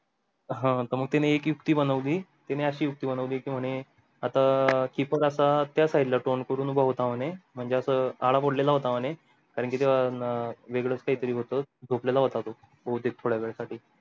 हां त मग त्याने एक युक्ती बनवली कि म्हणे आता keeper आता त्या side ला तोंड करून उभा होता म्हणजे आस कारण की ते न वेगळच काही तरी होतं झोपलेला होता तो भवतेक थोड्या वेळा साठी